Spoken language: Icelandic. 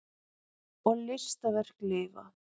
Og listaverk lifa.